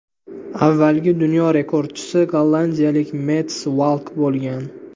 Avvalgi dunyo rekordchisi gollandiyalik Mets Valk bo‘lgan.